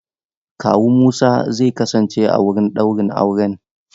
Kawu Musa zai kasance a wurin ɗaurin auren.